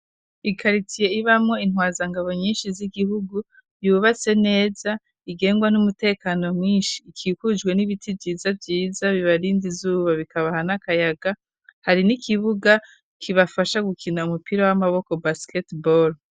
Ikaritiye ibamwo intwazangabo nyinshi z'igihugu yubatse neza igengwa n'umutekano mwinshi ikikujwe n'ibiti vyiza vyiza bibarinda izuba bikabaha n'akayaga, hari n'ikibuga kibafasha gukina umupira w'amaboko basket boro.